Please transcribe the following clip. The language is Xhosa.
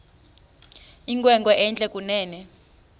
inkwenkwe entle kunene